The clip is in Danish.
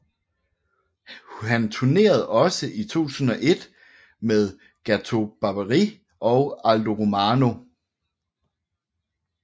Han tournerede også i 2001 med Gato Barbieri and Aldo Romano